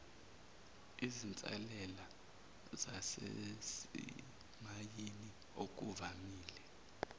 izinsalela zasezimayini okuvamise